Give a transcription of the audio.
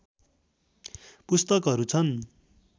पुस्तकहरू छन्।